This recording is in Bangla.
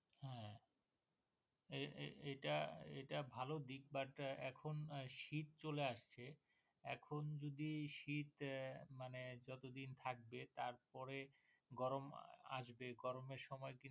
এটা এটা ভালো দিক But এখন শীত চলে আসছে এখন যদি শীত মানে যত দিন থাকবে তার পরে গরম আসবে গরমের সময় কিন্তু